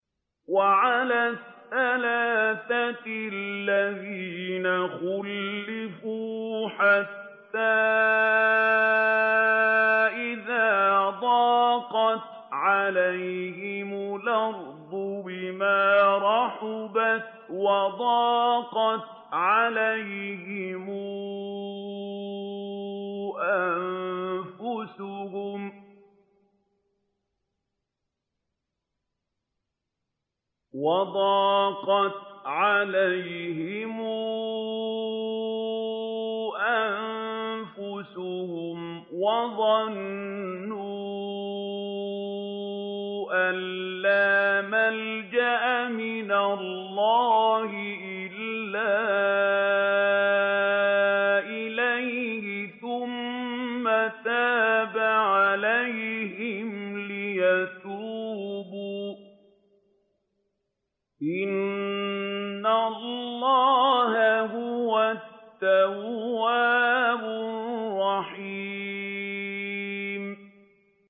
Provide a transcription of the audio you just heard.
وَعَلَى الثَّلَاثَةِ الَّذِينَ خُلِّفُوا حَتَّىٰ إِذَا ضَاقَتْ عَلَيْهِمُ الْأَرْضُ بِمَا رَحُبَتْ وَضَاقَتْ عَلَيْهِمْ أَنفُسُهُمْ وَظَنُّوا أَن لَّا مَلْجَأَ مِنَ اللَّهِ إِلَّا إِلَيْهِ ثُمَّ تَابَ عَلَيْهِمْ لِيَتُوبُوا ۚ إِنَّ اللَّهَ هُوَ التَّوَّابُ الرَّحِيمُ